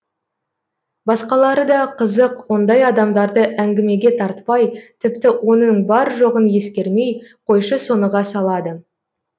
басқалары да қызық ондай адамдарды әңгімеге тартпай тіпті оның бар жоғын ескермей қойшы соныға салады